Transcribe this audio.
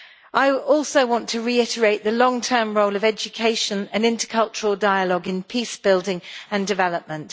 I also want to reiterate the long term role of education and intercultural dialogue in peace building and development.